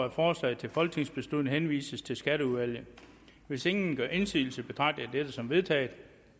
at forslaget til folketingsbeslutning henvises til skatteudvalget hvis ingen gør indsigelse betragter jeg dette som vedtaget